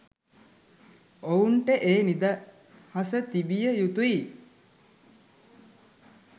ඔවුන්ට ඒ නිදහස තිබිය යුතුයි.